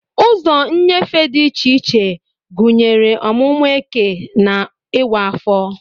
Ụzọ nnyefe dị iche iche, gụnyere ọmụmụ eke na iwa afo.